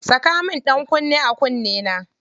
Saka min ɗankunne a kunnena.